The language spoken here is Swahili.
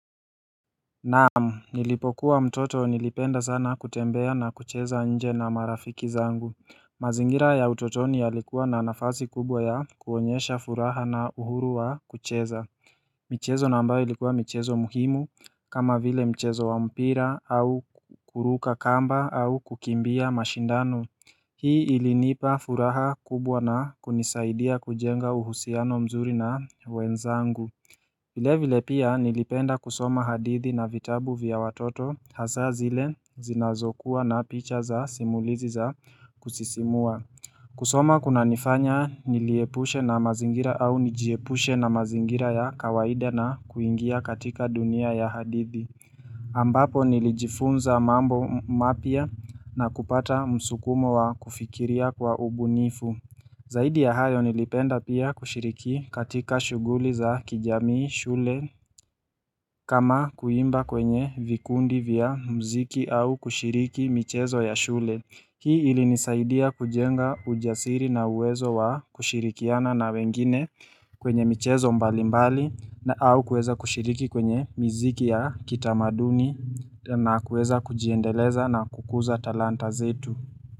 Naamu nilipokuwa mtoto nilipenda sana kutembea na kucheza nje na marafiki zangu mazingira ya utotoni yalikuwa na nafasi kubwa ya kuonyesha furaha na uhuru wa kucheza michezo na ambayo ilikuwa michezo muhimu kama vile mchezo wa mpira au kuruka kamba au kukimbia mashindano Hii ilinipa furaha kubwa na kunisaidia kujenga uhusiano mzuri na wenzangu vile vile pia nilipenda kusoma hadithi na vitabu vya watoto hasaa zile zinazokuwa na picha za simulizi za kusisimua kusoma kuna nifanya niliepushe na mazingira au nijiepushe na mazingira ya kawaida na kuingia katika dunia ya hadithi ambapo nilijifunza mambo mapya na kupata msukumo wa kufikiria kwa ubunifu Zaidi ya hayo nilipenda pia kushiriki katika shughuli za kijamii shule kama kuimba kwenye vikundi vya mziki au kushiriki michezo ya shule Hii ilinisaidia kujenga ujasiri na uwezo wa kushirikiana na wengine kwenye michezo mbali mbali na au kueza kushiriki kwenye mziki ya kitamaduni na kueza kujiendeleza na kukuza talanta zetu.